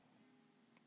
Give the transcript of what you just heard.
Linda